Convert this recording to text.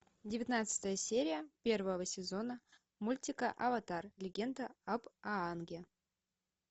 девятнадцатая серия первого сезона мультика аватар легенда об аанге